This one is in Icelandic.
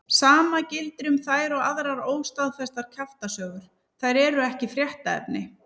Sama gildir um þær og aðrar óstaðfestar kjaftasögur, þær eru ekki fréttaefni.